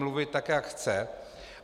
mluvit tak, jak chce.